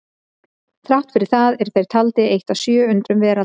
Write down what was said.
Þrátt fyrir það eru þeir taldir eitt af sjö undrum veraldar.